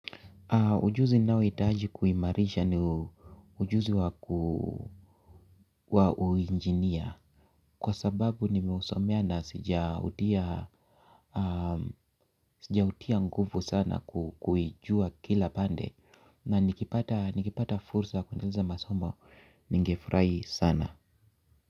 Ujuzi ninahitaji kuimarisha ni ujuzi wa uinjinia kwa sababu nimeusomea na sijaundia sijahutia nguvu sana kuijua kila pande na nikipata fursa kuendeleza masomo nigefurahi sana.